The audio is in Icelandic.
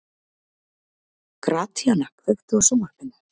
Gratíana, kveiktu á sjónvarpinu.